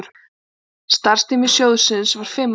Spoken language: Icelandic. Starfstími sjóðsins var fimm ár.